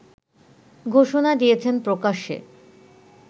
ঘোষণা দিয়েছেন প্রকাশ্যে